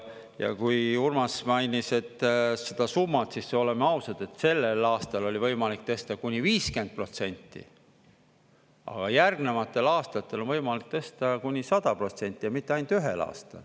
Ja kui Urmas mainis seda summat, siis oleme ausad, et sellel aastal oli võimalik tõsta kuni 50%, aga järgnevatel aastatel on võimalik tõsta kuni 100%, ja mitte ainult ühel aastal.